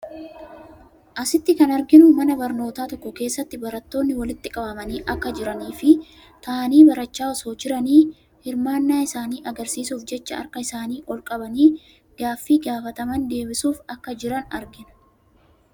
Asitti kan arginu mana barnootaa tokko keessatti barattoonni walitti qabamanii akka jiranii fi taa'anii barachaa osoo jiranii hirmaannaa isaanii agarsiisuuf jecha harka isaanii ol qabanii gaaffii gaafataman deebisuuf akka jiran argina.